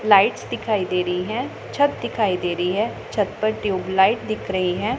Lights दिखाई दे रहीं हैं छत दिखाई दे रहीं हैं छत पर ट्यूबलाइट दिख रहीं हैं।